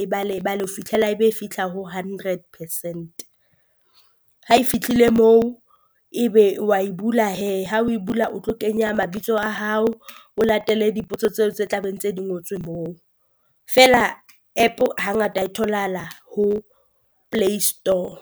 e bale e bale ho fitlhela e be e fitlha ho hundred percent, ha e fitlhile moo ebe wa e bula hee ha o e bula o tlo kenya mabitso a hao. O latele dipotso tseo tse tla beng tse di ngotswe moo, feela app hangata e tholahala ho Play Store.